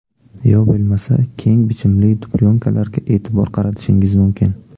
Yo bo‘lmasa keng bichimli dublyonkalarga e’tibor qaratishingiz mumkin.